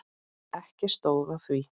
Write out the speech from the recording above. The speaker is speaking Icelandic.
Ekki stóð á því.